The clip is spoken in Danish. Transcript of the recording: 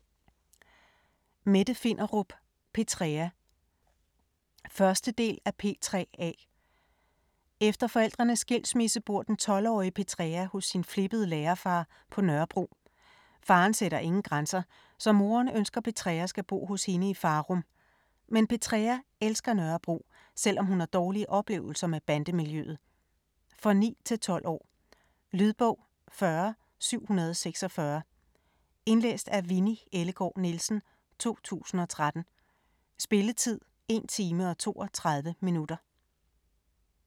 Finderup, Mette: Petrea 1. del af P3A. Efter forældrenes skilsmisse bor den 12-årige Petrea hos sin flippede lærerfar på Nørrebro. Faren sætter ingen grænser, så moren ønsker Petrea skal bo hos hende i Farum. Men Petrea elsker Nørrebro, selvom hun har dårlige oplevelser med bandemiljøet. For 9-12 år. Lydbog 40746 Indlæst af Winni Ellegaard Nielsen, 2013. Spilletid: 1 time, 32 minutter.